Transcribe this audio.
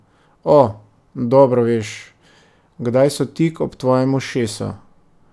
O, dobro veš, kdaj so tik ob tvojem ušesu.